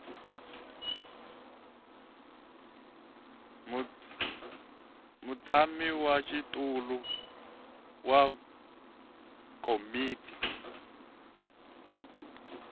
mutshami wa xitulu wa komiti